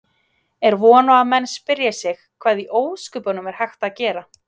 Er von að menn spyrji sig: Hvað í ósköpunum er hægt að gera?